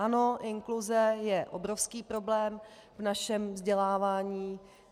Ano, inkluze je obrovský problém v našem vzdělávání.